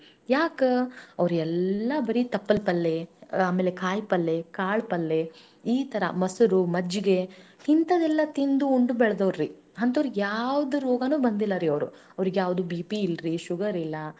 ಈ ತರಾ ಅವ್ರ ಆರಾಮಸೆ ನೂರಾ ಹದನೈದ ವಯಸ್ಸ ಮಟಾ ಬದ್ಕಯಾರ್ರಿ ಎದಕ್ಕಂತಂದ್ರ ಅದ್ರೊಳಗ ಬಾಳ ಎಣ್ಣಿ ಪದಾರ್ಥ ಇರ್ತದ ಆಮೇಲೆ ಹೆಂಗ fat ಪದಾರ್ಥ ಅಂತಾರ ನೋಡ್ರಿ ಅಂದ್ರ ಬೊಜ್ಜಿನ ಪದಾರ್ಥ ಅಂಥದೆಲ್ಲ ಇರ್ತದ ಅದ್ರೊಳಗ ಅದೆಲ್ಲಾ.